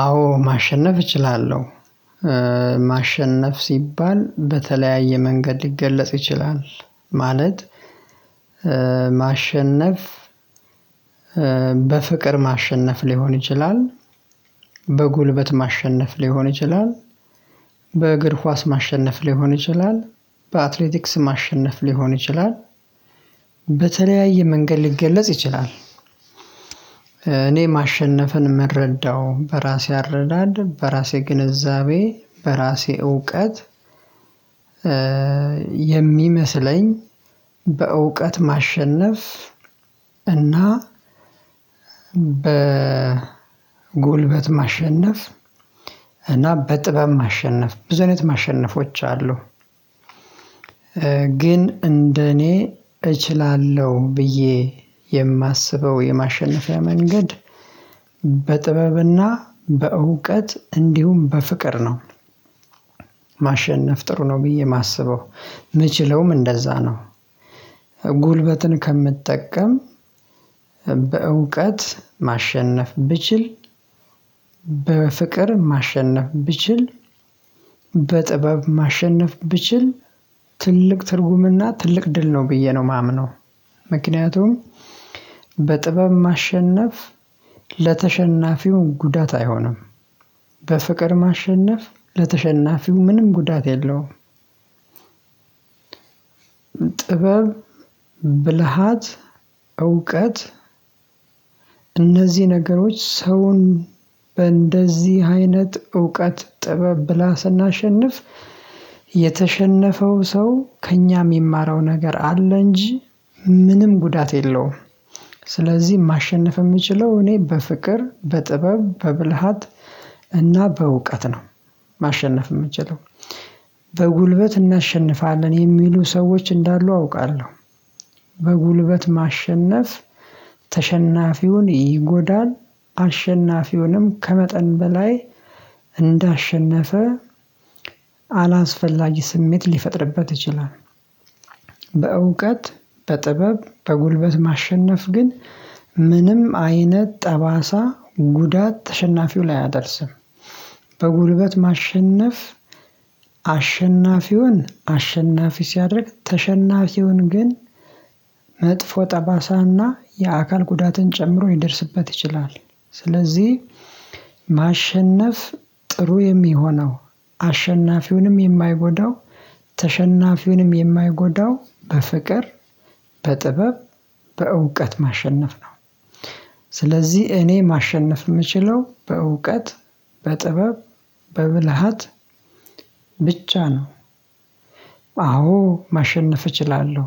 አዎ ማሸነፍ እችላለሁ ማሸነፍ ሲባል በተለያየ መንገድ ሊገለጽ ይችላል። ማለት ማሸነፍ በፍቅር ማሸነፍ ሊሆን ይችላል። በጉልበት ማሸነፍ ሊሆን ይችላል። በእግር ኳስ ማሸነፍ ሊሆን ይችላል። በአትሌቲክስ ማሸነፍ ሊሆን ይችላል። በተለያየ መንገድ ሊገለጽ ይችላል። እኔ ማሸነፍን የምረዳው በራሴ አረዳድ በራሴ ግንዛቤ በራሴ እውቀት። የሚመስለኝ በእውቀት ማሸነፍ እና በጉልበት ማሸነፍ እና በጥበብ ማሸነፍ ብዙ አይነት ማሸነፎች አሉ። ግን እንደኔ እችላለሁ ብዬ የማስበው የማሸነፊያ መንገድ በጥበብና በእውቀት እንዲሁም በፍቅር ነው። ማሸነፍ ጥሩ ነው ብዬ የማስበው የምችለውም እንደዛ ነው። ጉልበትን ከምጠቀም በእውቀት ማሸነፍ ብችል በፍቅር ማሸነፍ ብችል በጥበብ ማሸነፍ ብችል ትልቅ ትርጉምና ትልቅ ድል ነው ብዬ ነው የማምነው። ምክንያቱም በጥበብ ማሸነፍ ለተሸናፊው ጉዳት አይሆንም። በፍቅር ማሸነፍ ለተሸናፊው ምንም ጉዳት የለውም። ጥበብ ብልሃት እውቀት እነዚህ ነገሮች ሰውን በእንደዚህ አይነት እውቀት ጥበብ ብልሃት ስናሸንፍ የተሸነፈው ሰው ከእኛ የሚማረው ነገር አለ እንጂ ምንም ጉዳት የለውም። ስለዚህ ማሸነፍ የምችለው እኔ በፍቅር በጥበብ በብልሃት እና በእውቀት ነው። ማሸነፍ የምትችለው በጉልበት እናሸንፋለን የሚሉ ሰዎች እንዳሉ አውቃለሁ። በጉልበት ማሸነፍ ተሸናፊውን ይጎዳል አሸናፊውንም ከመጠን በላይ እንዳሸነፈ አላስፈላጊ ስሜት ሊፈጥርበት ይችላል። በእውቀት በጥበብ በጉልበት ማሸነፍ ግን ምንም አይነት ጠባሳ ጉዳት ተሸናፊው ላይ አያደርስም። በጉልበት ማሸነፍ አሸናፊውን አሸናፊ ሲያደርግ ተሸናፊውን ግን መጥፎ ጠባሳና የአካል ጉዳትን ጨምሮ ይደርስበት ይችላል። ስለዚህ ማሸነፍ ጥሩ የሚሆነው አሸናፊውንም የማይጎዳው ተሸናፊውንም የማይጎዳው በፍቅር በጥበብ በእውቀት ማሸነፍ ነው። ስለዚህ እኔ ማሸነፍ የምችለው በእውቀት በጥበብ በብልሃት ብቻ ነው። አዎ ማሸነፍ እችላለሁ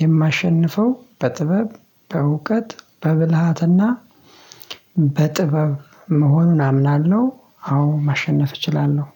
የማሸንፈው በጥበብ በእውቀት በብልሃትና በጥበብ መሆኑን አምናለሁ። አዎ ማሸነፍ እችላለሁ